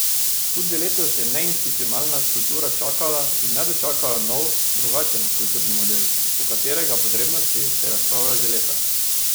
Tudi letos je neinstitucionalna kultura čakala in ne dočakala nov, drugačen kulturni model, o katerega potrebnosti se razpravlja že leta.